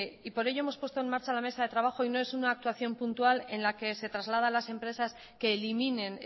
y por ello hemos puesto en marcha la mesa de trabajo y no es una actuación puntual en la que se traslada a las empresas que eliminen